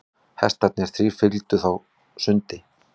Hestarnir þrír fylgdu á sundi.